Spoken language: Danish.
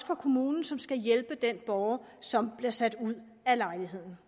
for kommunen som skal hjælpe den borger som bliver sat ud af lejligheden